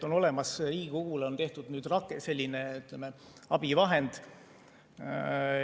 On olemas, Riigikogule on tehtud nüüd selline, ütleme, abivahend.